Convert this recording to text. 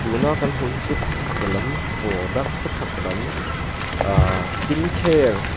tun a kan hmu hi chu kawchhak lam product kawchhak lam aaah skincare --